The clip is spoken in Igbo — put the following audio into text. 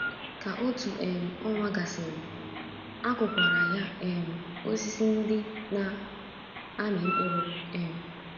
Ka otu um ọnwa gasịrị, a kụkwara ya um osisi ndị na - amị mkpụrụ. um